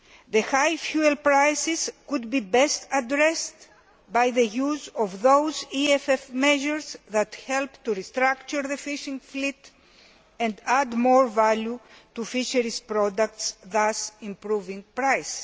The high fuel prices could be best addressed by the use of those EFF measures that help to restructure the fishing fleet and add more value to fisheries products, thus improving prices.